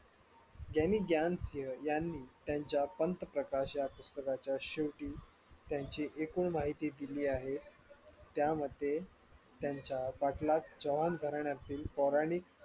यांनी त्यांच्या पंतप्रकाशात पुस्तकांच्या शेवटी त्यांच्या एकूण माहिती दिली आहे त्यामध्ये त्यांच्या पाटलाग चव्हाण घराण्यातील पौराणिक